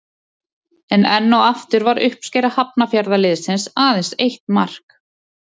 En enn og aftur var uppskera Hafnarfjarðarliðsins aðeins eitt mark.